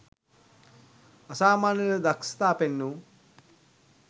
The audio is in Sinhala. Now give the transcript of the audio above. අසාමාන්‍ය ලෙස දක්ෂතා පෙන්වූ